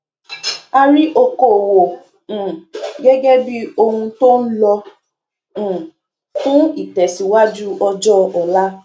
a rí okòòwò um gẹgẹ bí ohun tó ń lọ um fún ìtẹsíwájú ọjọ ọla